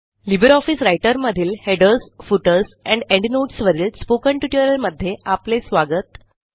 Libre office रायटरमधील headers footers and endnotes वरील spoken ट्युटोरियलमध्ये आपले स्वागत